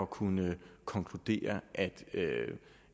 kunne konkludere